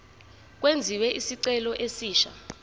kwenziwe isicelo esisha